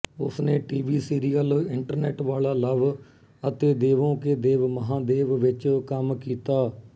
ਉਸਨੇ TV serial internet ਵਾਲਾ love ਅਤੇ ਦੇਵੋਂ ਕੇ ਦੇਵ ਮਹਾਦੇਵ ਵਿੱਚ ਕੰਮ ਕੀਤਾ ਹੈ